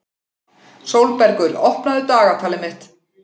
Sólbergur, opnaðu dagatalið mitt.